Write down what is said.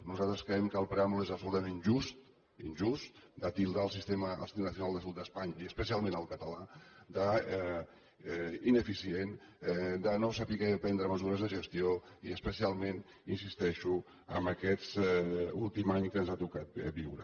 nosaltres creiem que el preàmbul és absolutament injust injust de titllar el sistema nacional de salut d’espanya i especialment el català d’ineficient de no saber prendre mesures de gestió i especialment hi insisteixo amb aquest últim any que ens ha tocat viure